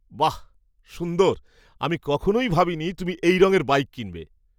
বাহ, সুন্দর! আমি কখনোই ভাবিনি তুমি এই রঙের বাইক কিনবে।